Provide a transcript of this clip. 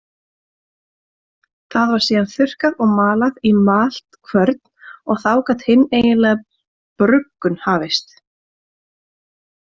Það var síðan þurrkað og malað í maltkvörn og þá gat hin eiginlega bruggun hafist.